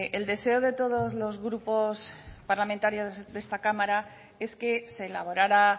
el deseo de todos los grupos parlamentarios de esta cámara es que se elaborara